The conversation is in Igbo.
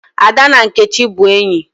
Ada na Nkechi bu enyi